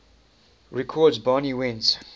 records barney went